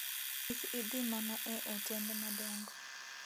Kik idhi mana e otende madongo.